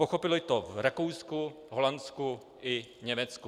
Pochopili to v Rakousku, Holandsku i Německu.